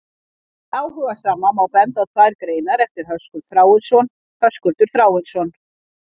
Fyrir áhugasama má benda á tvær greinar eftir Höskuld Þráinsson: Höskuldur Þráinsson.